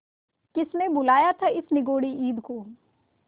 किसने बुलाया था इस निगौड़ी ईद को